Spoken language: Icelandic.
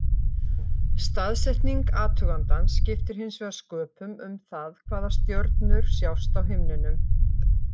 Staðsetning athugandans skiptir hins vegar sköpum um það hvaða stjörnur sjást á himninum.